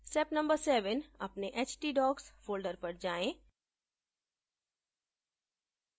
step no 7: अपने htdocs folder पर जाएँ